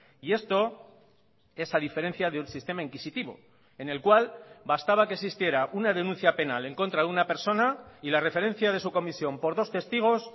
y esto es a diferencia de un sistema inquisitivo en el cual bastaba que existiera una denuncia penal en contra de una persona y la referencia de su comisión por dos testigos